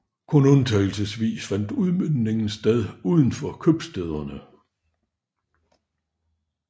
Kun undtagelsesvis fandt udmøntning sted uden for købstæderne